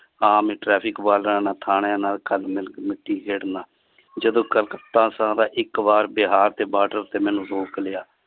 ਆਮ ਹੀ traffic ਵਾਲਿਆਂ ਥਾਣਿਆਂ ਨਾਲ ਜਦੋਂ ਕਲਕੱਤਾ ਇਕ ਬਾਰ ਬਿਹਾਰ ਦੇ ਬਾਡਰ ਤੇ ਮੈਨੂੰ ਰੋਕ ਲਿਆ।